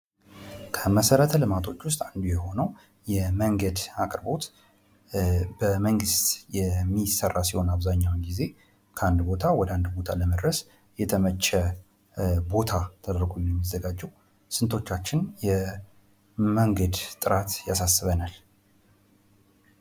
ከመሰረተ ልማቶች ውስጥ አንዱ የሆነው የመንገድ አቅርቦት በመንግስት የሚሰራ ሲሆን አብዛኛውን ጊዜ ከአንድ ቦታ ወደ አንድ ቦታ ለመድረስ የተመቸ ቦታ ተደርጎ ነው ሚዘጋጀው ። ስንቶቻችን የመንገድ ጥራት ያሳስበናል?